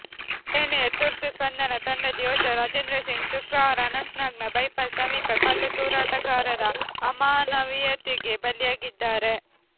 ಸೇನೆಯ ತುರ್ತು ಸ್ಪಂದನಾ ತಂಡದ ಯೋಧ ರಾಜೇಂದ್ರ ಸಿಂಗ್ ಶುಕ್ರವಾರ ಅನಂತ್ನಾಗ್ನ ಬೈಪಾಸ್ ಸಮೀಪ ಕಲ್ಲು ತೂರಾಟಗಾರರ ಅಮಾನವೀಯತೆಗೆ ಬಲಿಯಾಗಿದ್ದಾರೆ